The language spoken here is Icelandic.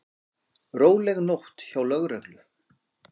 Róleg nótt hjá lögreglu